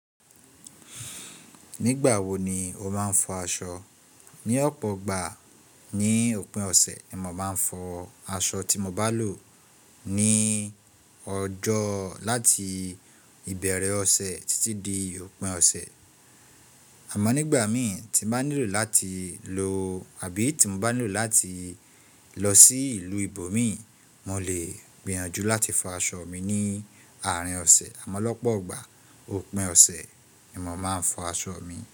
Nígbà wo ni o máa ń fọ aṣọ? Ni ọ̀pọ̀ ọgbà ní òpin ọ̀sẹ̀, ni mo máa ń fọ aṣọ tí mo bá lò ní ọjọ́ láti ìbẹ̀erẹ̀ ọ̀sẹ̀ títí di òpin ọ̀sẹ̀. Àmọ́ nígbà mìí tí n bà nílò láti lo àbí tí mo bá nílò láti lọ sí ìlú ìbò mí, mò lè gbìyànjú láti fọ aṣọ mi ní àárín ọ̀sẹ̀. Àmọ́ lọ́pọ̀ ọgbà òpin ọ̀sẹ̀ ni mo máa ń fọ aṣọ mi.